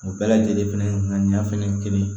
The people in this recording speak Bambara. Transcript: O bɛɛ lajɛlen fɛnɛ nka ɲɛ fɛnɛ kelen